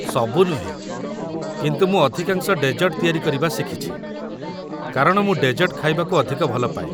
ସବୁ ନୁହେଁ, କିନ୍ତୁ ମୁଁ ଅଧିକାଂଶ ଡେଜର୍ଟ ତିଆରି କରିବା ଶିଖିଛି, କାରଣ ମୁଁ ଡେଜର୍ଟ ଖାଇବାକୁ ଅଧିକ ଭଲପାଏ ।